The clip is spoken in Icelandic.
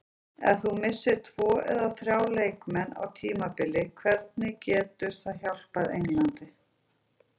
Ef þú missir tvo eða þrjá leikmenn á tímabili hvernig getur það hjálpað Englandi?